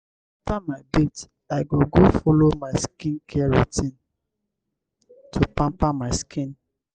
after my bath i go go follow my skincare routine to pamper my skin.